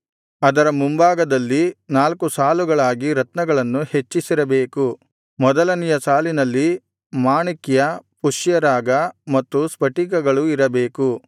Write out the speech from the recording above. ಅದರ ಮುಂಭಾಗದಲ್ಲಿ ನಾಲ್ಕು ಸಾಲುಗಳಾಗಿ ರತ್ನಗಳನ್ನು ಹೆಚ್ಚಿಸಿರಬೇಕು ಮೊದಲನೆಯ ಸಾಲಿನಲ್ಲಿ ಮಾಣಿಕ್ಯ ಪುಷ್ಯರಾಗ ಮತ್ತು ಸ್ಫಟಿಕಗಳು ಇರಬೇಕು